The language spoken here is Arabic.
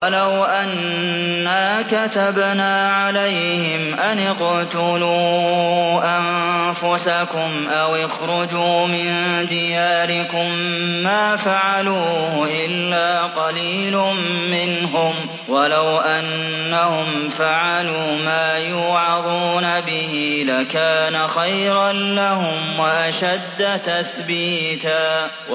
وَلَوْ أَنَّا كَتَبْنَا عَلَيْهِمْ أَنِ اقْتُلُوا أَنفُسَكُمْ أَوِ اخْرُجُوا مِن دِيَارِكُم مَّا فَعَلُوهُ إِلَّا قَلِيلٌ مِّنْهُمْ ۖ وَلَوْ أَنَّهُمْ فَعَلُوا مَا يُوعَظُونَ بِهِ لَكَانَ خَيْرًا لَّهُمْ وَأَشَدَّ تَثْبِيتًا